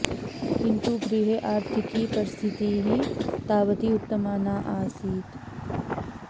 किन्तु गृहे आर्थिकी परिस्थितिः तावती उत्तमा न आसीत्